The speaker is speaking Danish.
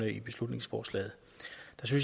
i beslutningsforslaget